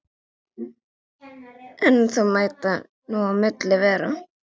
En þó mætti nú á milli vera.